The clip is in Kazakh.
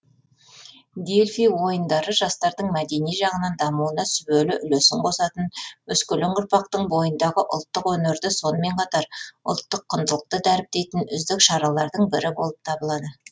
дельфий ойындары жастардың мәдени жағынан дамуына сүбелі үлесін қосатын өскелең ұрпақтың бойындағы ұлттық өнерді сонымен қатар ұлттық құндылықты дәріптейтін үздік шаралардың бірі болып табылады